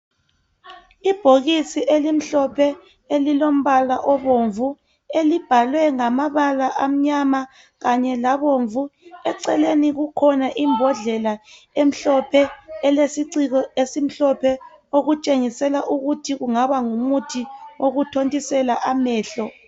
Ibhokisi elimhlophe elilombala obomvu elibhalwe ngamabala amnyama kanye labomvu eceleni kukhona imbodlela emhlophe elesiciko esimhlophe okutshengisela ukuthi kungaba ngumuthi owokuthontisela amehlo